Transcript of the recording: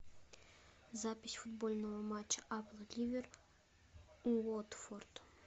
запись футбольного матча апл ливер уотфорд